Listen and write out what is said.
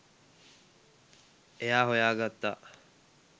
එයා හොයා ගත්තා